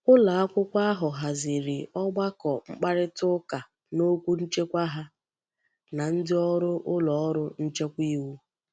Ulo akwukwo ahu haziri ogbako mkparita uka n'okwu nchekwa ha na ndi órú uloru nchekwa iwu.